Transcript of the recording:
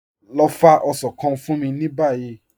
Lọ fá osàn kàn fún mí ní báyì.